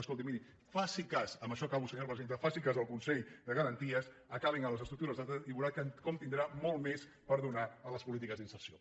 escolti miri faci cas amb això acabo senyora presidenta al consell de garanties acabin amb les estructures d’estat i veurà com tindrà molt més per donar a les polítiques d’inserció